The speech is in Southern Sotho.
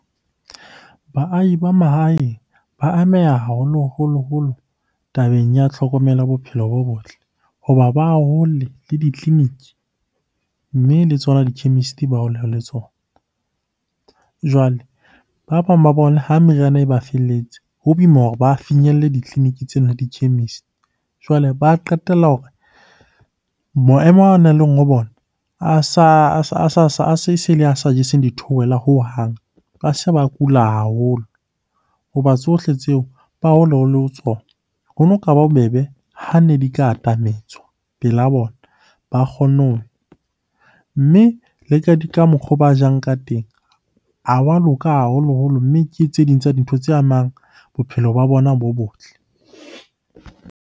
Baahi ba mahaeng ba ameha haholoholo-holo tabeng ya tlhokomelo ya bophelo bo botle hoba ba hole le ditleliniki, mme le tsona di-chemist-e ba hole le tsona. Jwale ba bang ba bona ha meriana e ba felletse ho boima hore ba finyelle ditleliniki tsena le di-chemist. Jwale ba qetella hore maemo ao bona a se a sa jeseng di theohelang hohang. Ba se ba kula haholo hoba tsohle tseo ba ho tsona. Hono ka ba bobebe ha ne di ka atametswa pela bona, ba kgonne . Mme le ka mokgo ba jang ka teng ha wa loka haholoholo, mme ke tse ding tsa dintho tse amang bophelo ba bona bo botle.